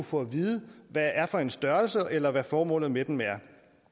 få at vide hvad er for en størrelse eller hvad formålet med dem er